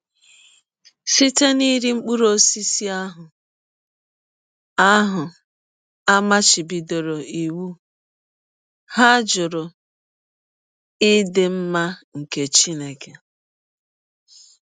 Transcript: Site n’iri mkpụrụ ọsisi ahụ a ahụ a machibidọrọ iwụ, ha jụrụ ịdị mma nke Chineke.